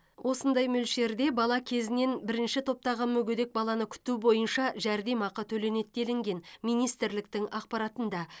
осындай мөлшерде бала кезінен бірінші топтағы мүгедек баланы күту бойынша жәрдемақы төленеді делінген министрліктің ақпаратында